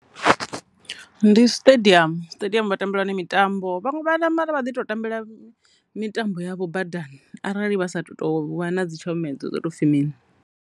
Ndi stadium, stadium vha tambela hone mitambo vhaṅwe vha na mara vha ḓi tambela mitambo yavho badani arali vha sa tu to vha na dzi tshomedzo dzo to pfhi mini.